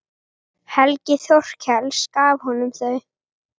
Helgi Þorkels gaf honum þau.